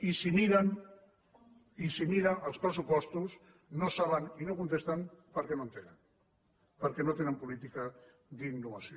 i si miren els pressupostos no saben i no contesten perquè no en tenen perquè no tenen política d’innovació